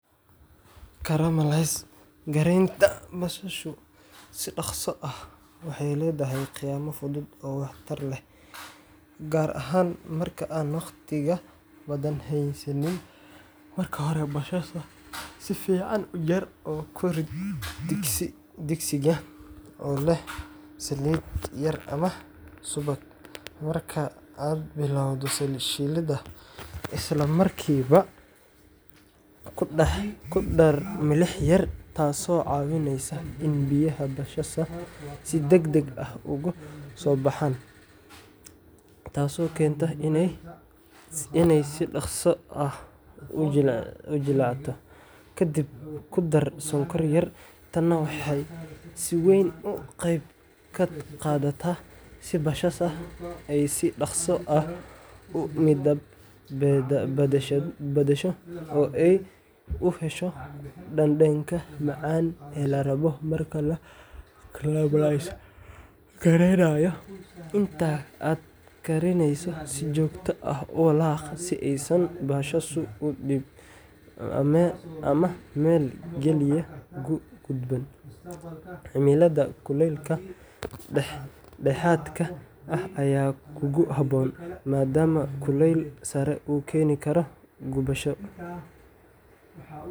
Caramelise-gareynta basasha si dhaqso ah waxay leedahay khiyaamo fudud oo waxtar leh, gaar ahaan marka aan waqtiga badan haysanin. Marka hore, basasha si fiican u jar oo ku rid digsiga oo leh saliid yar ama subag. Marka aad bilowdo shiilidda, isla markiiba ku dar milix yar, taasoo caawinaysa in biyaha basasha si degdeg ah uga soo baxaan, taasoo keenta inay si dhaqso ah u jilcato. Ka dib, ku dar sonkor yar tan waxay si weyn uga qeyb qaadataa in basasha ay si dhakhso ah u midab beddesho oo ay u hesho dhadhanka macaan ee la rabo marka la caramelise-gareynayo. Inta aad karineyso, si joogto ah u walaaq si aysan basashu u gubin ama meel keliya uga guban. Cimilada kuleylka dhexdhexaadka ah ayaa ugu habboon, maadaama kuleyl sare uu keeni karo gubasho.